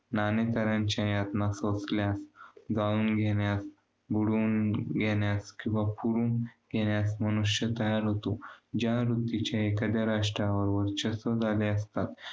ना ना तऱ्हेच्या यातना सोसल्या. जाळून घेण्यात, बुडवून घेण्यास किंवा पुरून घेण्यास मनुष्य तयार होतो. ज्या वृत्तीच्या एखाद्या राष्ट्राबरोबर चस झाले असता.